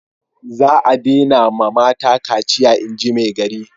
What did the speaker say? Za a dena ma mata kaciya inji maigari